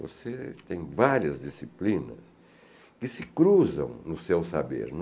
Você tem várias disciplinas que se cruzam no seu saber.